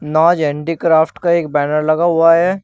नाज handicraft का एक बैनर लगा हुआ है।